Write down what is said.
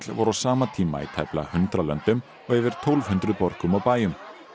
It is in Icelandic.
voru á sama tíma í tæplega hundrað löndum og yfir tólf hundruð borgum og bæjum